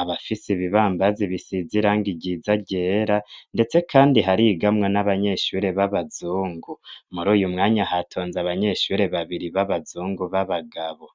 Abafis'ibibambazi bisize irangi ryiza ryera, ndetse kandi harigamwo n'abanyeshure b'abazungu. Mur'uyu mwanya hatonze abanyeshure babiri b'abazungu b'abagabo.